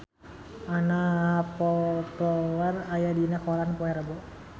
Anna Popplewell aya dina koran poe Rebo